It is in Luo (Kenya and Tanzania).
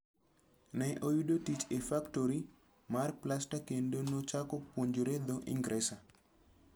Ne oyudo tich e faktori mar plasta kendo nochako puonjore dho Ingresa.